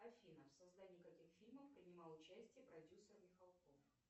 афина в создании каких фильмов принимал участие продюсер михалков